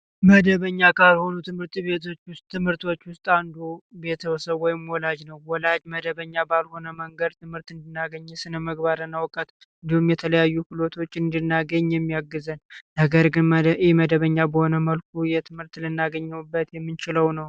መደበኛ ካርቦኑ ትምርት ቤቶች ትምህርቶች ውስጥ አንዱ ቤተሰቡ ወይም ወላጅ ነው ወላጅ መደበኛ ባልሆነ መንገድ ትምህርት እንዲያገኙ የተለያዩ እንድናገኝ የሚያግዘን ነገር ግን መደበኛ በሆነ መልኩ የትምህርት ልናገኘበት የሚችለው ነው